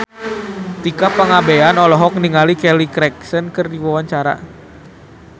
Tika Pangabean olohok ningali Kelly Clarkson keur diwawancara